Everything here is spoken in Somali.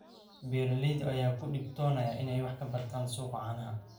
Beeralayda ayaa ku dhibtoonaya inay wax ka bartaan suuqa caanaha.